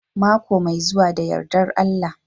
Mako mai zuwa da yardar Allah